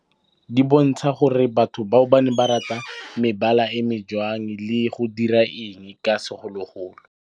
Di bontsha gore batho bao ba ne ba rata mebala e jwang le go dira eng ka segologolo.